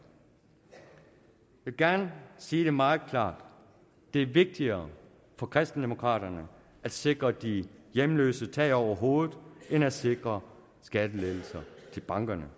gerne sige det meget klart det er vigtigere for kristendemokraterne at sikre de hjemløse tag over hovedet end at sikre skattelettelser til bankerne